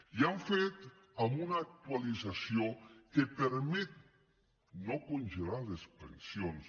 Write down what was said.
i ho hem fet amb una actualització que permet no congelar les pensions